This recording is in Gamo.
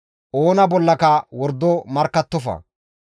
«Oona bollaka wordo markkattofa.